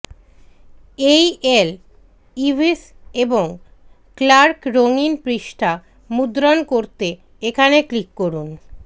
এই Lewis এবং Clark রঙিন পৃষ্ঠা মুদ্রণ করতে এখানে ক্লিক করুন